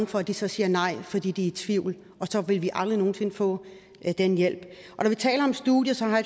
for at de så siger nej fordi de er i tvivl og så vil vi aldrig nogen sinde få den hjælp når vi taler om studier så har